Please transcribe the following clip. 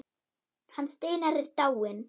Hann Steinar er dáinn.